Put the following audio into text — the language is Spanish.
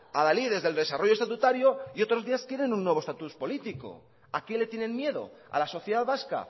adalides del desarrollo estatutario y otros días quieren un nuevo estatus político a qué le tienen miedo a la sociedad vasca